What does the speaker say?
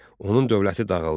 Onun dövləti dağıldı.